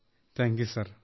thank you sir